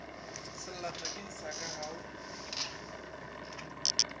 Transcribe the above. sellathekeng sa ka ga o